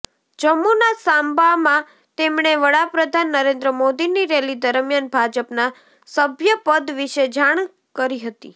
જમ્મુના સાંબામાં તેમણે વડા પ્રધાન નરેન્દ્ર મોદીની રેલી દરમિયાન ભાજપનાં સભ્યપદ વિશે જાણ કરી હતી